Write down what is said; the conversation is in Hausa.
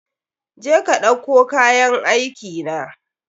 Je ka ɗauko kayan aikina!